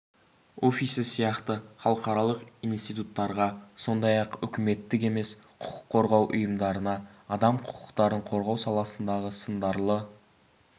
офисі сияқты халықаралық институттарға сондай-ақ үкіметтік емес құқық қорғау ұйымдарына адам құқықтарын қорғау саласындағы сындарлы